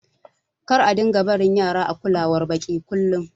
Kar a dinga barin Yara a kulawar baƙi ƙullum.